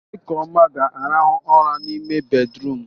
Ekeoma ga-arahụ ụra n'ime bédrụum.